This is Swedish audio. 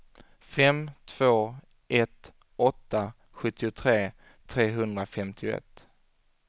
fem två ett åtta sjuttiotre trehundrafemtioett